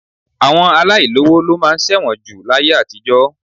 Àwọn aláìlówo ló máa ń ṣẹ̀wọ̀n jù láyé àtijọ́